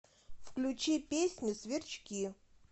включи песню сверчки